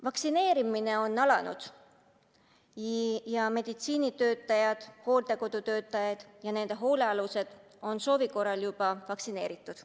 Vaktsineerimine on alanud ja meditsiinitöötajad, hooldekodutöötajad ja nende hoolealused on soovi korral juba vaktsineeritud.